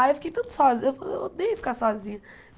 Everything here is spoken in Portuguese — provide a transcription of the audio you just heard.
Aí eu fiquei tanto sozinha, eu odeia ficar sozinha.